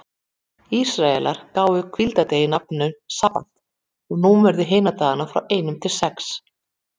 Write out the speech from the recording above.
Ísraelar gáfu hvíldardeginum nafnið sabbat og númeruðu hina dagana frá einum til sex.